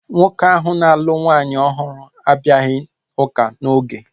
Nwoke ahu na-alụ nwaanyị ọhụrụ abịaghị ụka n'oge